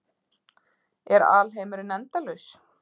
Er alheimurinn endalaus?